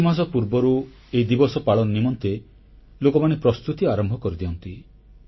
କିଛିମାସ ପୂର୍ବରୁ ଏହି ଦିବସ ପାଳନ ନିମନ୍ତେ ଲୋକମାନେ ପ୍ରସ୍ତୁତି ଆରମ୍ଭ କରିଦିଅନ୍ତି